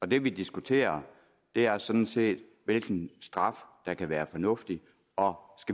det vi diskuterer er sådan set hvilke straffe der kan være fornuftige og om